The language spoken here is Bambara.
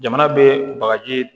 Jamana bɛ bagaji